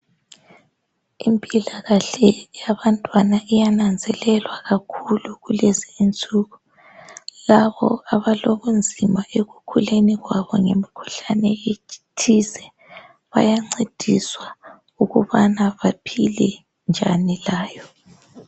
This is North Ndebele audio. Impilakahle yabantwana iyananzelelwa kakhulu kulezi insuku labo abalobunzima ekukhuleni kwabo ngemikhuhlane ethize bayancediswa ukubana baphile njani layo